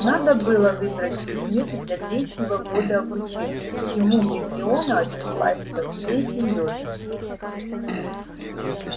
надо было выбрать предметы для третьего года обучения к чему гермиона отнеслась со всей серьёзностью